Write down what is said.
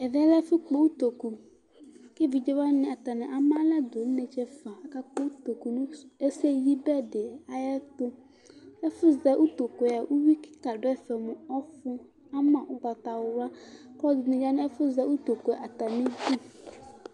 Ɛvɛ lɛ ƴɛlɛ ɛfu kpɔ ʊtokʊ Kevɩdze wani ama lɛdʊ inetse ɛfua kaka kpɔ utokʊ neseyɩbɛ dɩ ayɛtʊ Ɛfʊzɛ ʊtokʊ ƴɛa ʊwio kika didɛfɛ ɔlɛ mɔfʊ ama mu ʊgbatawla, kɔlɔdi bɩ ya nɛfu zɛ utokʊ ayidʊ